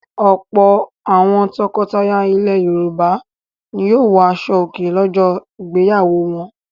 Ọ̀pọ̀ àwọn tọkọtaya ilẹ̀ Yorùbá ni yóò wọ aṣọòkè lọ́jọ́ ìgbéyàwó wọn.